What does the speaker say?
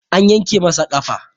An yanke masa ƙafa